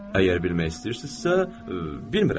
Əgər bilmək istəyirsinizsə, bilmirəm.